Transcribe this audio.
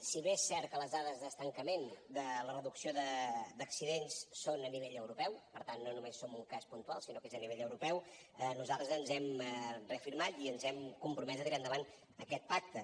si bé és cert que les dades d’estancament de la reducció d’accidents són a nivell europeu per tant no només som un cas puntual sinó que és a nivell europeu nosaltres ens hem reafirmat i ens hem compromès a tirar endavant aquest pacte